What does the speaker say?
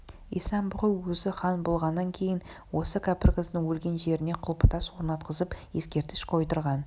исан-бұғы өзі хан болғаннан кейін осы кәпір қыздың өлген жеріне құлпытас орнатқызып ескерткіш қойдырған